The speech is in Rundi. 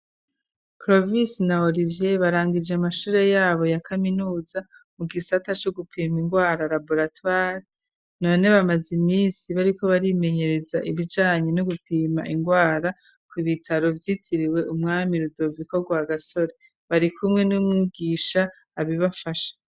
Krovise na Olivye barangije amashure yabo ya kaminuza, mu gisata co gupima ingwara ,labolatware, none bamaze iminsi bariko barimenyereza ibijanye no gupima ingwara ku ibitaro vyitiriwe, umwami rudoviko rwa gasore, bari kumwe n'umwigisha abibafasha.